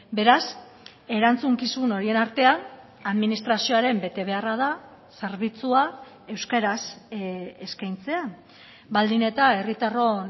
beraz erantzukizun horien artean administrazioaren betebeharra da zerbitzua euskaraz eskaintzea baldin eta herritarron